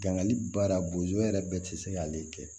Dankali baara bo yɛrɛ bɛɛ tɛ se k'ale kɛ